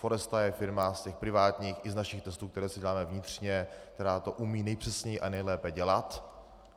Foresta je firma z těch privátních i z našich testů, které si děláme vnitřně, která to umí nejpřesněji a nejlépe dělat.